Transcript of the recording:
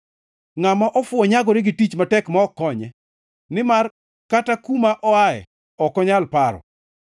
Ngʼama ofuwo nyagore gi tich matek ma ok konye; nimar kata kuma oaye ok onyal paro.